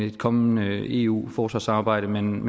et kommende eu forsvarssamarbejde men